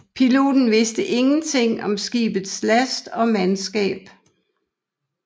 Piloten viste ingenting om skibets last og mandskab